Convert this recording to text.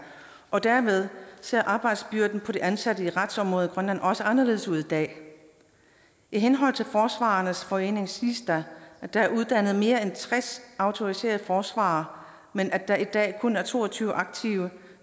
og dermed ser arbejdsbyrden for de ansatte på retsområdet i grønland også anderledes ud i dag i henhold til forsvarernes forening siges der at der er uddannet mere end tres autoriserede forsvarere men at der i dag kun er to og tyve aktive